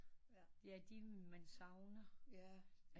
Ja de man savner